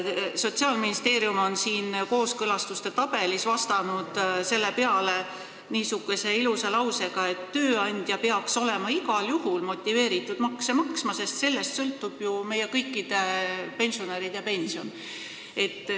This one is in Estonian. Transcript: Sotsiaalministeerium on siin kooskõlastuste tabelis vastanud selle peale niisuguse ilusa lausega, et tööandja peaks olema igal juhul motiveeritud makse maksma, sest sellest sõltub meie kõikide pensionäride pension.